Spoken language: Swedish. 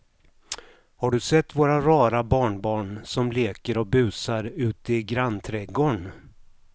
Har du sett våra rara barnbarn som leker och busar ute i grannträdgården!